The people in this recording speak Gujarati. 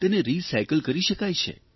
તેને રીસાયકલ કરી શકાય છે